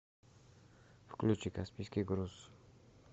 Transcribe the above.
включи каспийский груз